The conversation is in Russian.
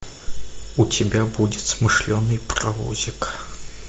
у тебя будет смышленный паровозик